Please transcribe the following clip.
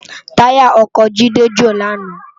Tàyá òkò Jide jó làná